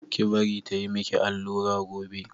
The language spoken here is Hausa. Ki bari ta yi miki allura gobe!